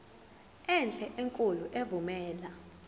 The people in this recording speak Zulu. enhle enkulu evumela